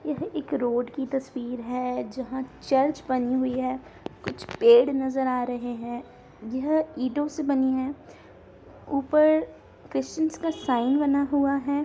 यह एक रोड की तस्वीर है जहा चर्च बनी हुई है कुछ पेड़ नज़र आ रहे हैं यह ईंटों से बनी है उपर क्रिस्टिअन्स का साइन बना हुआ है।